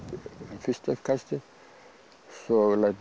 fyrsta uppkastið svo læt ég